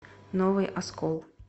новый оскол